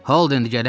Holden gələn!